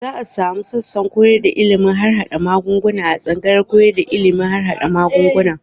Za a sumu sassan koyar da ilimin harhaɗa magunguna a tsangayar koyar da ilimin harhaɗa magunguna.